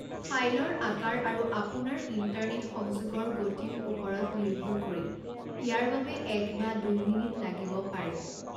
ফাইলৰ আকাৰ আৰু আপোনাৰ ইণ্টাৰনেট সংযোগৰ গতিৰ ওপৰত নিৰ্ভৰ কৰি ইয়াৰ বাবে এক বা দুই মিনিট লাগিব পাৰে।